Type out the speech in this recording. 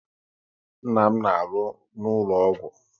Nna m na alụ n'ụlọ ọgwụ